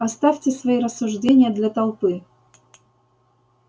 оставьте свои рассуждения для толпы